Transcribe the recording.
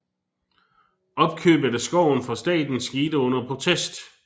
Opkøbet af skoven fra staten skete under protest